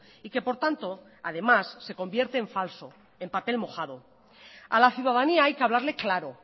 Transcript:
y que por tanto además se convierte en falso en papel mojado a la ciudadanía hay que hablarle claro